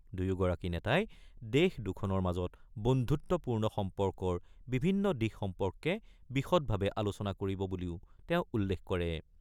দুয়োগৰাকী নেতাই দেশ দুখনৰ মাজৰ বন্ধুত্বপূৰ্ণ সম্পৰ্কৰ বিভিন্ন দিশ সম্পৰ্কে বিষদভাৱে আলোচনা কৰিব বুলিও তেওঁ উল্লেখ কৰে ।